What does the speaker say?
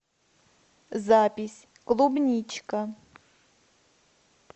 запись клубничка